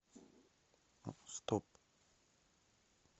стоп